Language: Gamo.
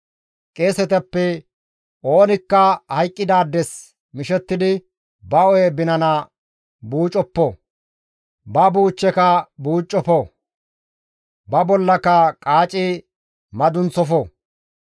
« ‹Qeesetappe oonikka hayqqidaades mishettidi ba hu7e binana buucoppo; ba buuchcheka buucoppo; ba bollaka qaaci madunththofo.